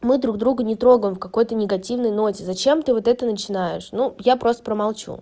мы друг друга не трогаем в какой-то негативный ноте зачем ты вот это начинаешь ну я просто промолчу